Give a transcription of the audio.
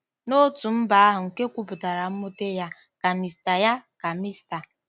N'otu mba ahụ nke kwupụtara mwute ya, ka Mr ya, ka Mr.